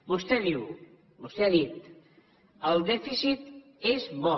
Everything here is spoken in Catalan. vostè diu vostè ha dit el dèficit és bo